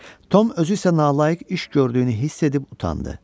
Tom özü isə nalayiq iş gördüyünü hiss edib utandı.